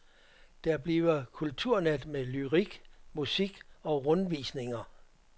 Der bliver kulturnat med lyrik, musik og rundvisninger.